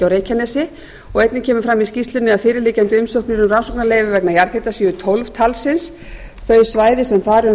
reykjanesi og einnig kemur fram í skýrslunni að fyrirliggjandi umsóknir um rannsóknarleyfi vegna jarðhita séu tólf talsins þau svæði sem þar um